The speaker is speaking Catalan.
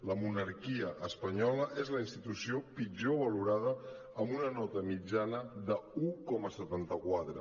la monarquia espanyola és la institució pitjor valorada amb una nota mitjana d’un coma setanta quatre